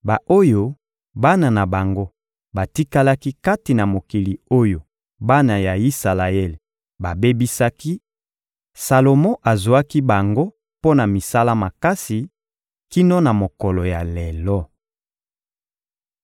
ba-oyo bana na bango batikalaki kati na mokili oyo bana ya Isalaele babebisaki, Salomo azwaki bango mpo na misala makasi, kino na mokolo ya lelo.